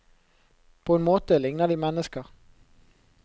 På en måte ligner de mennesker.